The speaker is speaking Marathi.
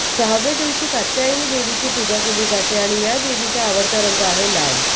सहाव्या दिवशी कात्यायनी देवीची पूजा केली जाते आणि या देवीचा आवडता रंग आहे लाल